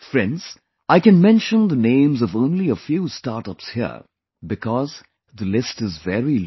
Friends, I can mention the names of only a few Startups here, because the list is very long